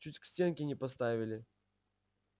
чуть к стенке не поставили